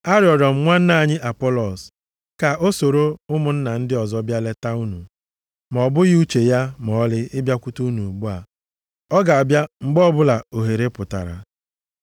Arịrịọ m nwanne anyị Apọlọs ka o soro ụmụnna ndị ọzọ bịa leta unu, ma ọ bụghị uche ya ma ọlị ịbịakwute unu ugbu a. Ọ ga-abịa mgbe ọbụla ohere pụtara.